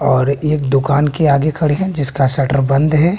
और एक दुकान के आगे खड़े हैं जिसका शटर बंद है।